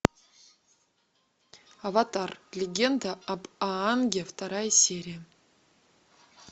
аватар легенда об аанге вторая серия